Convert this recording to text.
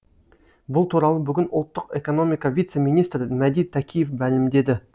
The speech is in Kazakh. бұл туралы бүгін ұлттық экономика вице министрі мәди тәкиев мәлімдеді